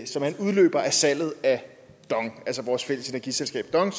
salget af dong altså vores fælles energiselskab dong